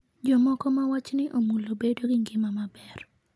Jomoko ma wachni omulo bedo gi ngima maber.